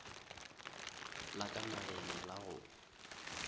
la ka nageng la go